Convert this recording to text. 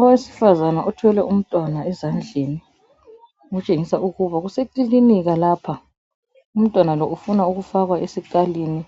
Owesifazana othwele umntwana ezandleni ukutshengisa ukuba kusekilinika lapha umntwana lo ufuna ukufakwa esikalini